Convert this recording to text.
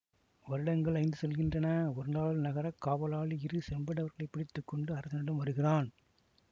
வருடங்கள் ஐந்து செல்கின்றன ஒரு நாள் நகரக் காவலாளி இரு செம்படவர்களைப் பிடித்து கொண்டு அரசனிடம் வருகிறான்